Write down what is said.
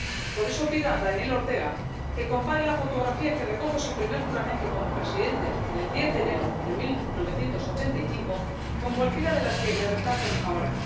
Por eso pido a Daniel Ortega que compare la fotografía que recoge su primer juramento como presidente, del 10 de enero de 1985, con cualquiera de las que le retratan ahora.